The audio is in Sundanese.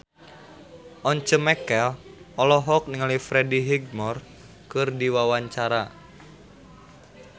Once Mekel olohok ningali Freddie Highmore keur diwawancara